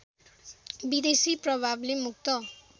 विदेशी प्रभावले मुक्त